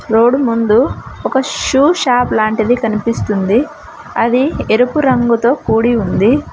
road ముందు ఒక shoe shop లాంటిది కనిపిస్తుంది అది ఎరుపు రంగుతో కూడి ఉంది